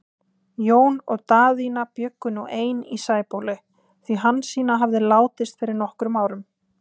Jón og Daðína bjuggu nú ein í Sæbóli, því Hansína hafði látist fyrir nokkrum árum.